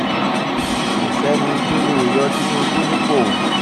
kò sẹ́ni tó lè yọ tinubu nípò